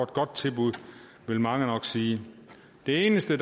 godt tilbud vil mange nok sige det eneste